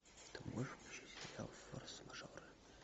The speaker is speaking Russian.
ты можешь включить сериал форс мажоры